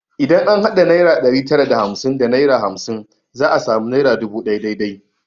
Idan an hada naira ɗari tara da hamsin da naira hamsin za a sami naira dubu ɗaya dai dai